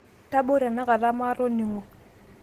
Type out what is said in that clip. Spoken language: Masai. tabua tenakata maatoningo